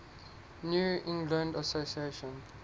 new england association